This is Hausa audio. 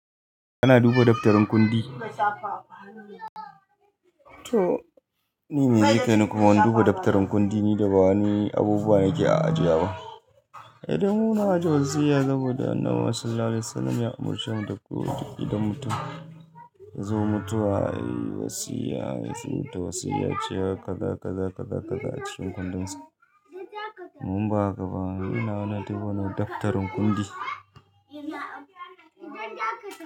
Kana duba daftarin kundi? To ni me yake ni kuma ban duba daftarin kundi ne da ba wani abubuwa ke a ajiya ba. Eh, damu na ajiye wasiya saboda Annabi Sallallahu Alaihi Wasallama ya umarci mu da ko idan mutum ya zo mutuwa yayi wasiyya. Yana so ta wasiyya cewa ka zaka zaka zaka zaka a cikin kundinsa. Mun ba ka ba. Ni na hana duba wannan daftarin kundi.